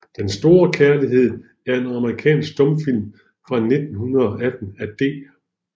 Den store Kærlighed er en amerikansk stumfilm fra 1918 af D